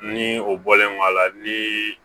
Ni o bɔlen kɔ a la ni